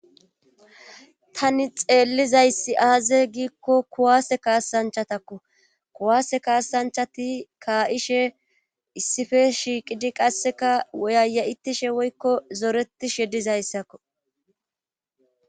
tani xeellizayssi aaze giikko kuwaase kaasanchatakko kuwaase kaasanchati kaa7ishe issife shiiqidi qasseka woyaya7itishe woykko zoreti shedizayssakko